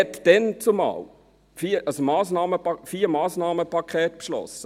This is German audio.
Man beschloss damals, als man den Kredit sprach, vier Massnahmenpakete.